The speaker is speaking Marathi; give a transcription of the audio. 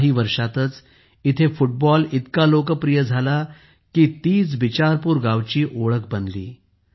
काही वर्षांतच इथे फुटबॉल इतके लोकप्रिय झाले की तीच बिचारपूर गावाची ओळख बनली